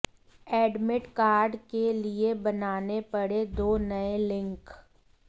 admit card के लिए बनाने पड़े दो नए लिंक